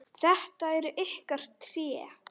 Þetta eru ykkar tré.